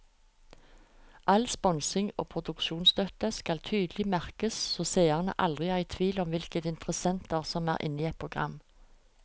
All sponsing og produksjonsstøtte skal tydelig merkes så seerne aldri er i tvil om hvilke interessenter som er inne i et program.